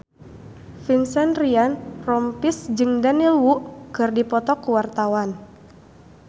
Vincent Ryan Rompies jeung Daniel Wu keur dipoto ku wartawan